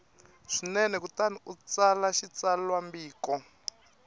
swinene kutani u tsala xitsalwambiko